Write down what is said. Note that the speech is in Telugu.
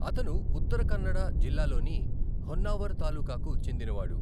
అతను ఉత్తర కన్నడ జిల్లాలోని హొన్నావర్ తాలూకాకు చెందినవాడు.